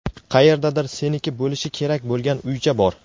Qayerdadir seniki bo‘lishi kerak bo‘lgan uycha bor.